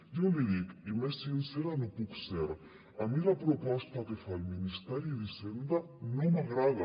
jo l’hi dic i més sincera no ho puc ser a mi la proposta que fa el ministeri d’hisenda no m’agrada